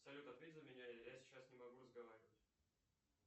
салют ответь за меня я сейчас не могу разговаривать